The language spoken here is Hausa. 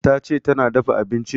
Tace tana dafa abincin